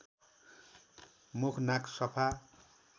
मुख नाक सफा